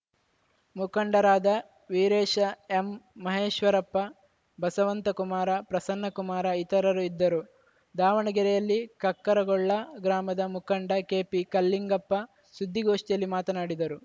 ಮುಖಂಡರಾದ ವೀರೇಶ ಎಂಮಹೇಶ್ವರಪ್ಪ ಬಸವಂತಕುಮಾರ ಪ್ರಸನ್ನಕುಮಾರ ಇತರರು ಇದ್ದರು ದಾವಣಗೆರೆಯಲ್ಲಿ ಕಕ್ಕರಗೊಳ್ಳ ಗ್ರಾಮದ ಮುಖಂಡ ಕೆಪಿಕಲ್ಲಿಂಗಪ್ಪ ಸುದ್ದಿಗೋಷ್ಠಿಯಲ್ಲಿ ಮಾತನಾಡಿದರು